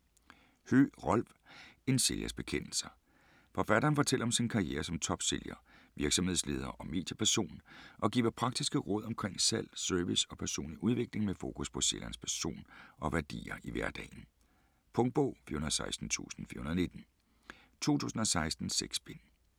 Høegh, Rolf: En sælgers bekendelser Forfatteren fortæller om sin karriere som topsælger, virksomhedsleder og medieperson, og giver praktiske råd omkring salg, service og personlig udvikling med fokus på sælgerens person og værdier i hverdagen. Punktbog 416419 2016. 6 bind.